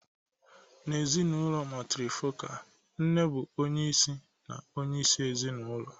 N'ezinụlọ matrifocal, nne bụ onye isi na onyeisi ezinụlọ.